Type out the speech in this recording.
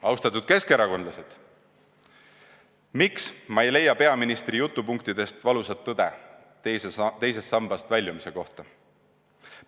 Austatud keskerakondlased, miks ma ei leia peaministri jutupunktidest valusat tõde teisest sambast väljumise kohta?